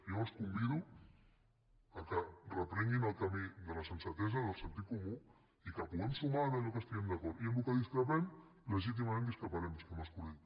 jo els convido que reprenguin el camí de la sensatesa del sentit comú i que puguem sumar en allò que estiguem d’acord i en allò que discrepem legítimament discreparem senyor mas colell